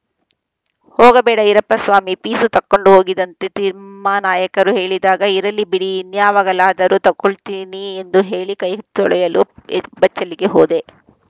ಹೋಗಬೇಡ ಇರಪ್ಪ ಸ್ವಾಮಿ ಪೀಸು ತಕ್ಕಂಡು ಹೋಗಿದಂತೆ ತಿಮ್ಮಾನಾಯಕರು ಹೇಳಿದಾಗ ಇರಲಿ ಬಿಡಿ ಇನ್ಯಾವಾಗಲಾದರೂ ತಗೊಳ್ತೀನಿ ಎಂದು ಹೇಳಿ ಕೈ ತೊಳೆಯಲು ಎ ಬಚ್ಚಲಿಗೆ ಹೋದೆ